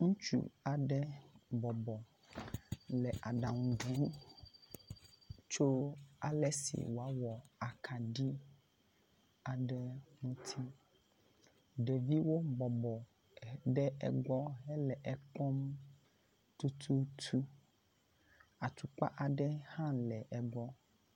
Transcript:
Ŋutsu aɖe bɔbɔ le aɖaŋu bum tso ale si woawɔ akaɖi aɖe ŋuti. Ɖeviwo bɔbɔ ɖe egbɔ hele ekpɔm tututu. Atukpa aɖe hã le egbɔ.